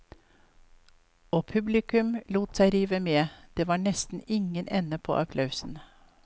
Og publikum lot seg rive med, det var nesten ingen ende på applausen.